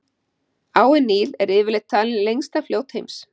Áin Níl er yfirleitt talið lengsta fljót heims.